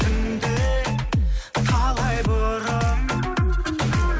түнде талай бұрын